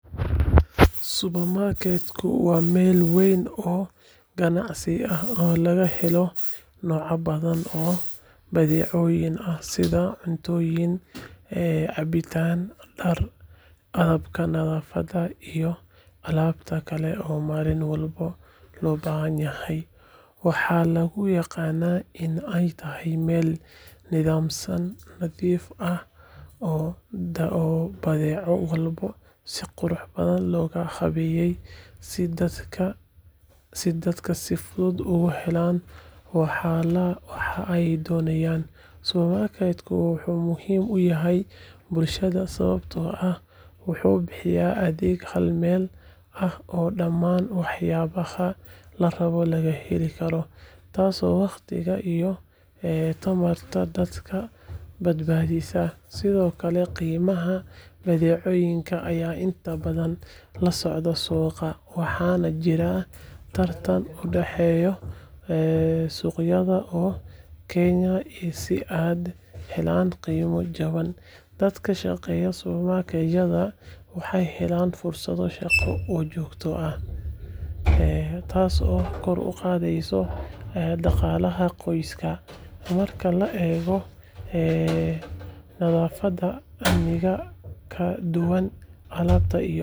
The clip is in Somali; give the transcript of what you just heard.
supermarket wa mel wen oo ganacsi ah oo lagahelo noca badan oo badiceyon ah sidha cuntoyin cabitaan daar qalabka nadafada iyo alabta kale oo malinwalbo hobahanyahay, waxa laguyagana in ay tahay mel nidaamsan nadiif ah oo badeci lagugadi si qurux badan logahabeye si dadka si fudud uguhelan waxa ay donayan, supermarket wuxu muxiim uyahay bulshada sawabto ah wuxu bihiya adeeg halmel ah ok damaan waxyabaha marhore lagaheli karo taas oo wagtiga iyo dadka badbadisa Sidhokale qimaha badeceyinka aya inta badan lasocda suqaa, waxa udeheyo ee suqyada oo kenya iuo si ay uhepan gimo jawan, dadka kashageua supermarketyada waxay helan fursado shagoo oo jogyo ah, taas oo kor ugadeyso daqalaha qoyska marka laego nadafada iyo nidaamka kaladuwan alabta iyo.